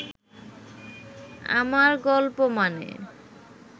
আমার গল্প মানে